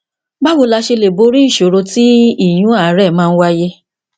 báwo la ṣe lè borí ìṣòro tí ìyún àárè máa ń wáyé